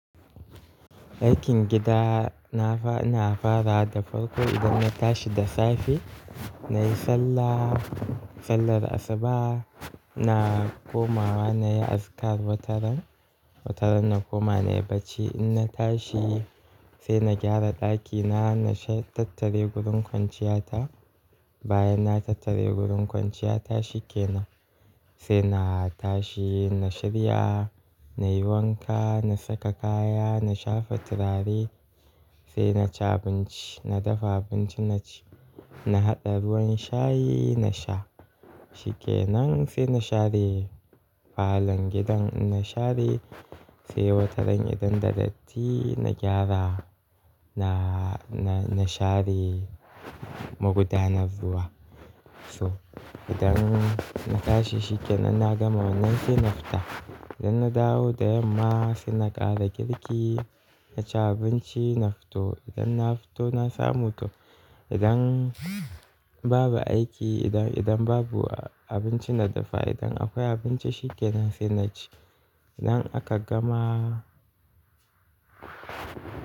Aikin gida na fara, ina na farawa da farko idan na tashi da safe nayi sallah, sallar asuba na komawa nayi azikar wataran, wataran na koma nayi bacci. Inna tashi sai na gyara ɗakina, na tattare gurin kwanciyata. Bayan na tattare gurin kwanciya ta shi kenan sai na tashi na shirya, nayi wanka, na saka kaya, na shafa turare sai naci abinci. Na dafa abinci naci, na haɗa ruwan shayi nasha shikenan sai na share falon gidan. Inna share sai wataran idan da datti na gyara, na, na share magudanar ruwa. So idan na tashi shikenan na gama wannan sai na fita. Idan na dawo da yamma sai na ƙara girki, naci abinci na fito. Idan na fito na samu to idan babu aiki, idan, idan babu abinci na dafa, idan akwai abinci shikenan sai naci. Idan aka gama.